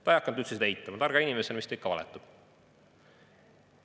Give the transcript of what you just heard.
Ta ei hakanud üldse seda eitama, targa inimesena, mis ta ikka valetab.